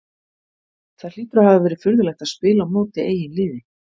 Það hlýtur að hafa verið furðulegt að spila á móti eigin liði?